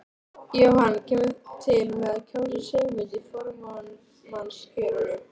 Jóhann: Kemurðu til með að kjósa Sigmund í formannskjörinu?